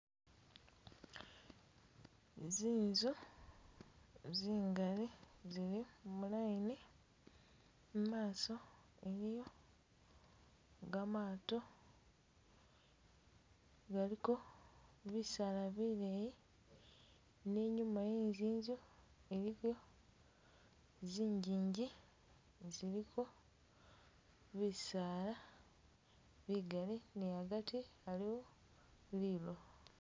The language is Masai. Zinzu zingali zili mu line mumaso muliyo gamato galiko bisala bileyi ninyuma wezinzu iliko zinjinji ziliko bisala bigali niagati aliwo lilowo